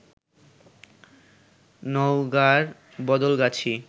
নওগাঁর বদলগাছী